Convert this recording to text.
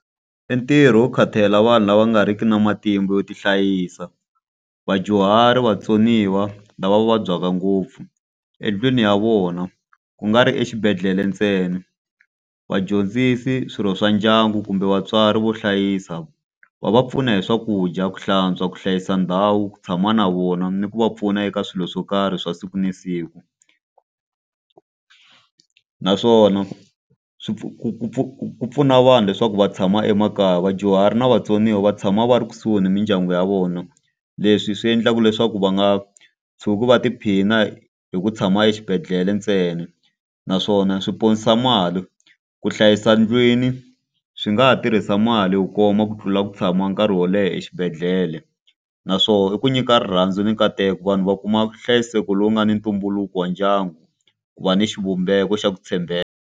I ntirho wo khatalela vanhu lava nga ri ki na matimba yo ti hlayisa, vadyuhari, vatsoniwa lava vabyaka ngopfu endlwini ya vona ku nga ri exibedhlele ntsena. Vadyondzisi, swirho swa ndyangu, kumbe vatswari vo hlayisa va va pfuna hi swakudya, ku hlantswa, ku hlayisa ndhawu, ku tshama na vona, ni ku va pfuna eka swilo swo karhi swa siku na siku. Naswona ku pfuna vanhu leswaku va tshama emakaya. Vadyuhari na vatsoniwa va tshama va ri kusuhi ni mindyangu ya vona. Leswi swi endlaka leswaku va nga tshuki va tiphina hi ku tshama exibedhlele ntsena. Naswona swi ponisa mali. Ku hlayisa ndlwini swi nga ha tirhisa mali yo koma ku tlula ku tshama nkarhi wo leha exibedhlele. Naswona i ku nyika rirhandzu ni nkateko vanhu va kuma vuhlayiseko lowu nga ni ntumbuluko wa ndyangu, ku va ni xivumbeko xa ku tshembeka.